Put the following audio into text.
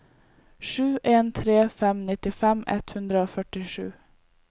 sju en tre fem nittifem ett hundre og førtisju